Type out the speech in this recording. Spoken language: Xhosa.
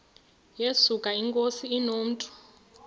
yesuka inkosi inomntu